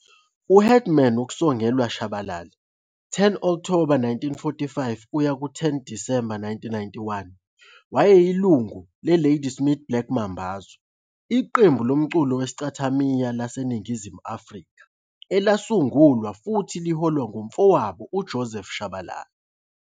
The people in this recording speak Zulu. U-Headman uNksongelwa Shabalala, 10 Okthoba 1945 - 10 Disemba 1991, wayeyilungu leLadysmith Black Mambazo, iqembu lomculo wesicathimaya laseNingizimu Afrika elasungulwe futhi liholwa ngumfowabo uJoseph Shabalala.